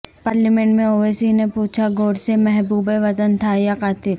parliament میں اویسی نے پوچھا گوڈسے محب وطن تھا یا قاتل